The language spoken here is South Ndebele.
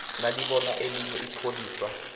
nalibona elinye ipholisa